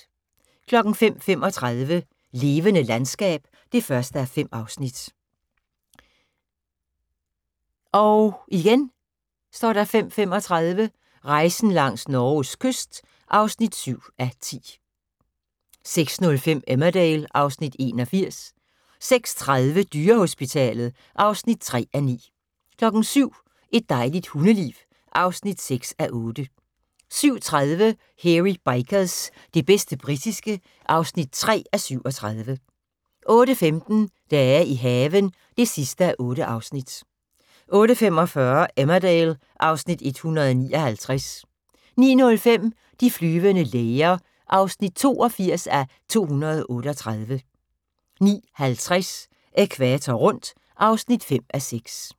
05:35: Levende landskab (1:5) 05:35: Rejsen langs Norges kyst (7:10) 06:05: Emmerdale (Afs. 81) 06:30: Dyrehospitalet (3:9) 07:00: Et dejligt hundeliv (6:8) 07:30: Hairy Bikers – det bedste britiske (3:37) 08:15: Dage i haven (8:8) 08:45: Emmerdale (Afs. 159) 09:05: De flyvende læger (82:238) 09:50: Ækvator rundt (5:6)